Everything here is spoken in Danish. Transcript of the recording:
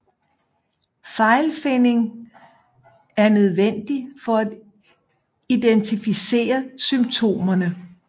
Fejlfinding er nødvendig for at identificere symptomerne